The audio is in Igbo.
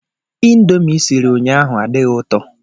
Indomie ị siri ụnyaahụ adịghị ụtọ